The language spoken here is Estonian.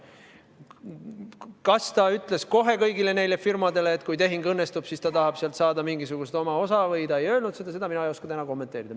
Seda, kas ütles kohe kõigile neile firmadele, et kui tehing õnnestub, siis ta tahab sealt saada mingisugust osa, või ta ei öelnud seda, mina ei oska täna kommenteerida.